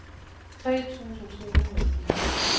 tre tusind to hundrede og fire